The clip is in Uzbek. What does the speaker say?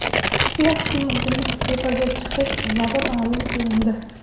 Rossiya hukumatining iste’foga chiqish sababi ma’lum qilindi.